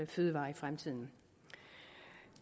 fødevarer i fremtiden